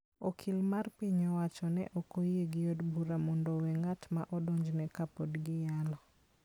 Okil mar piny owacho ne ok oyie ni od bura mondo owe ng'at ma odonjneno ka pod giyalo.